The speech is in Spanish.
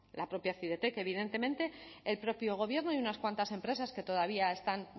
la propia cidetec evidentemente el propio gobierno y unas cuantas empresas que todavía están